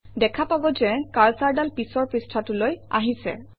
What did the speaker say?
দেখা পাব যে কাৰ্চৰডাল পিছৰ পৃষ্ঠাটোলৈ আহিছে